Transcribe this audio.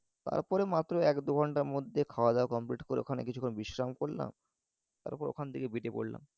তারপরে মাত্র এক দু ঘণ্টার মধ্যে খাওয়া দাওয়া complete করে ওখানে কিছুক্ষণ বিশ্রাম করলাম তারপর ওখান থেকে বেড়িয়ে পরলাম।